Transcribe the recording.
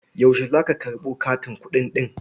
Yaushe za ka karɓo katin kuɗi ɗin?